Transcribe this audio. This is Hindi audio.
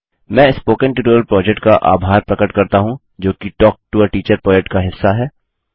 मैं स्पोकन ट्यूटोरियल प्रोजेक्ट का आभार प्रकट करता हूँ जो कि talk to a teacher project का हिस्सा है